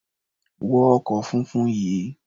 Wọ ọkọ̀ funfun yìí!